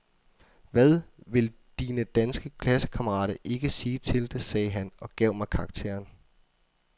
Hvad vil dine danske klassekammerater ikke sige til det, sagde han og gav mig karakteren.